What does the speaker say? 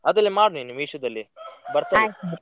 ಅದ್ರಲ್ಲಿ ಮಾಡು ನೀನು Meesho ದಲ್ಲಿ.